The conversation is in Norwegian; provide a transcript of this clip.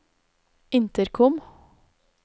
intercom